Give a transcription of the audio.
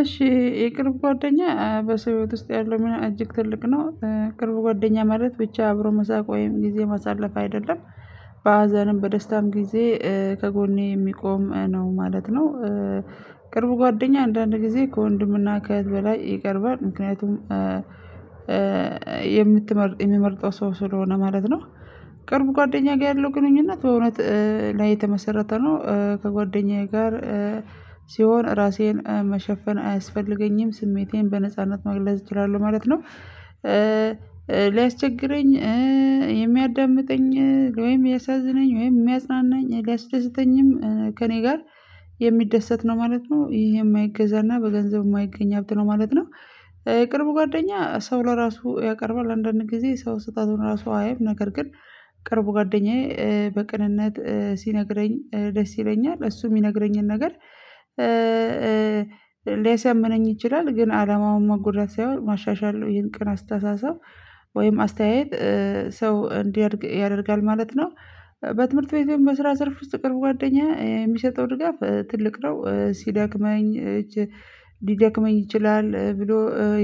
እሺ የቅርብ ጓደኛ በሰው ህይወት ውስጥ ያለው ሚና እጅግ ትልቅ ነው ቅርብ ጓደኛ ማለት ብቻ አብሮ መሳቅ ወይም ጊዜ ማሳለፍ አይደለም በሀዘንም በደስታም ጊዜ ከጎኔ የሚቆም ነው ማለት ነው ቅርብ ጓደኛ አንዳንድ ጊዜ ከወንድምና ከእህት በላይ ይቀርባል ምክንያቱም የምትመርጥ የሚመርጠው ሰው ስለሆነ ማለት ነው ቅርብ ጓደኛ ጋር ያለው ግንኙነት በእውነት ላይ የተመሰረተ ነው ከጓደኛዬ ጋር ሲሆን ራሴን መሸፈን አያስፈልገኝም ስሜቴን በነጻነት መግለጽ እችላለሁ ማለት ነው ሊያስቸግረኝ የሚያዳምጠኝ ወይም ያሳዝነኝ ወይም ሚያጽናናኝ ሊያስደሰተኝም ከእኔ ጋር የሚደሰት ነው ማለት ነው ይሄ የማይገዛና በገንዘብ ማይገኝ ሀብት ነው ማለት ነው የቅርብ ጓደኛ ሰው ለራሱ ያቀርባል አንዳንድ ጊዜ ሰው ስህተቱን ራሱ አያይም ነገር ግን ቅርብ ጓደኛዬ በቅንነት ሲነግረኝ ደስ ይለኛል እሱ ሚነግረኝን ነገር ሊያሰምነኝ ይችላል ግን አላማው መጎዳት ሳይሆን ማሻሻል ነው ይሄን ቅን አስተሳሰብ ወይም አስተያየት ሰው እንዲያድግ ያደርጋል ማለት ነው በትምህርት ቤት ወይም በስራ ዘርፍ ውስጥ የቅርብ ጓደኛ የሚሰጠው ድጋፍ ትልቅ ነው ሲደክመኝ ሊደክመኝ ይችላል ብሎ